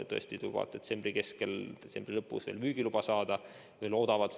Tõesti loodetakse detsembri keskel või detsembri lõpus müügiluba saada.